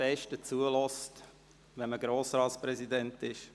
Es ist auch der Moment, während dem der Rat am besten zuhört.